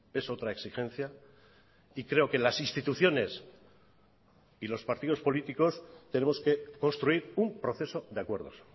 es otra exigencia y creo que las instituciones y los partidos políticos tenemos que construir un proceso de acuerdos